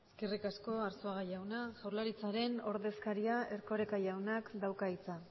eskerrik asko arzuaga jauna jaurlaritzaren ordezkariak erkoreka jaunak dauka hitza